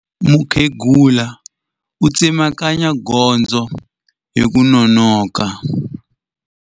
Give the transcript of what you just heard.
Mukhegula u tsemakanya gondzo hi ku nonoka.